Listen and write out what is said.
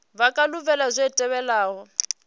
vha nga lavhelela zwi tevhelaho